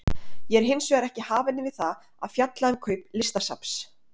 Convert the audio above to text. Ég er hins vegar ekki hafinn yfir það að fjalla um kaup Listasafns